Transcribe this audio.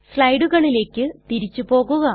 സ്ലയടുകളിലെക് തിരിച്ചു പോകുക